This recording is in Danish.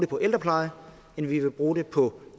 på ældrepleje end vi vil bruge dem på